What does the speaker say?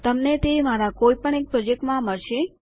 તમને તે મારા કોઈ એક પ્રોજેક્ટમાં મળશે